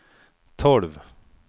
tolv